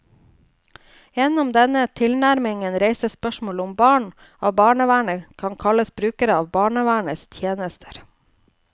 Gjennom denne tilnærmingen reises spørsmålet om barn av barnevernet kan kalles brukere av barnevernets tjenester.